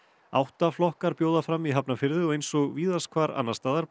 átta flokkar bjóða fram í Hafnarfirði og eins og víðast hvar annars staðar